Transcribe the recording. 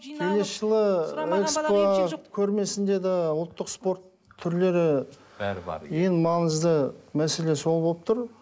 келесі жылы экспо көрмесінде де ұлттық спорт түрлері бәрі бар ең маңызды мәселе сол болып тұр